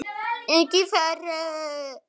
ekki fara!